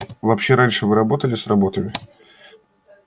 вообще раньше вы работали с работами